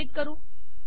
संकलित करू